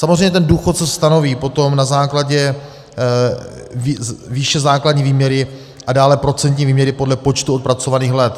Samozřejmě ten důchod se stanoví potom na základě výše základní výměry a dále procentní výměry podle počtu odpracovaných let.